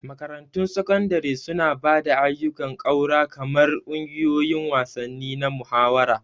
Makarantun Sakandare suna ba da ayyukan ƙaura kamar ƙungiyoyin wasanni na muhawara.